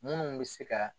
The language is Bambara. Minnu bɛ se ka